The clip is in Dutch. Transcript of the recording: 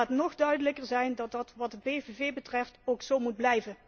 En laat nog duidelijker zijn dat dat wat de PVV betreft ook zo moet blijven!